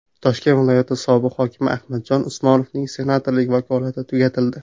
Toshkent viloyati sobiq hokimi Ahmadjon Usmonovning senatorlik vakolati tugatildi.